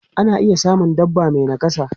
Ana iya samun dabba mai nakasa.